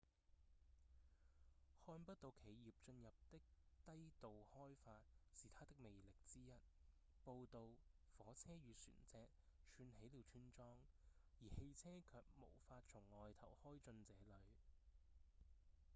看不到企業進入的低度開發是它的魅力之一步道、火車與船隻串起了村莊而汽車卻無法從外頭開進這裡